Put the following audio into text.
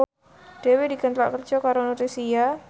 Dewi dikontrak kerja karo Nutricia